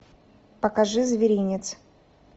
покажи зверинец